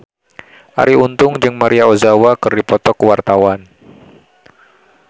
Arie Untung jeung Maria Ozawa keur dipoto ku wartawan